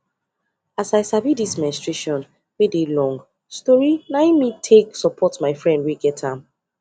as i sabi this menstruation wey dey long storyna him me take support my friend wey get am